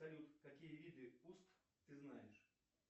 салют какие виды уст ты знаешь